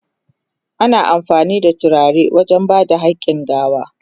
Ana amfani da turare wajen ba da hakin gawa.